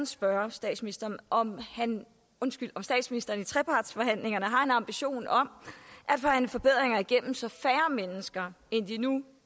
spørge statsministeren om statsministeren i trepartsforhandlingerne har en ambition om at forhandle forbedringer igennem så færre mennesker end de nu